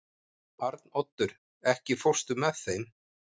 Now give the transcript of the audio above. Arnoddur, ekki fórstu með þeim?